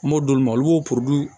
N m'o d'olu ma olu